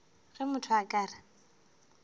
ge motho a ka re